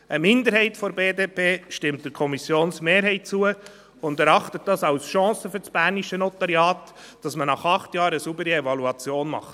Eine Minderheit der BDP stimmt der Kommissionsmehrheit zu und erachtet es als Chance für das bernische Notariat, dass man nach acht Jahren eine saubere Evaluation macht.